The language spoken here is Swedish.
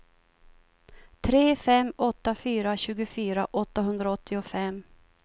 tre fem åtta fyra tjugofyra åttahundraåttiofem